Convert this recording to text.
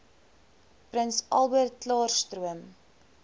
prins albertklaarstroom